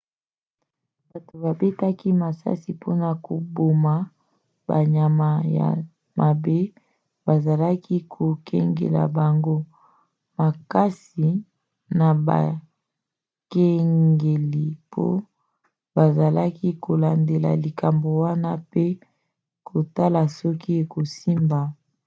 bato babetaki masasi mpona koboma banyama ya mabe bazalaki kokengela bango makasi na bakengeli mpo bazalaki kolandela likambo wana pe kotala soki ekosimba